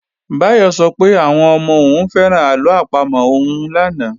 Báyọ̀ sọ pé àwọn ọmọ òun fẹ́ràn àlọ àpamọ̀ òun lánàá